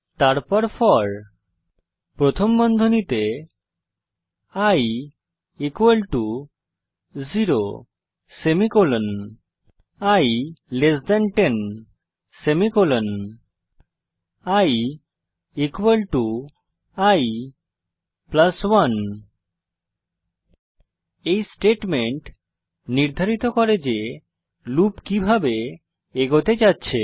তারপর ফোর প্রথম বন্ধনীতে i 0 semicolon i 10 semicolon i i 1 এই স্টেটমেন্ট নির্ধারিত করে যে লুপ কিভাবে এগোতে যাচ্ছে